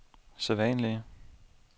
sædvanlige